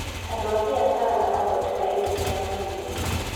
Andũ a biacara marathondeka irio cia mahiũ.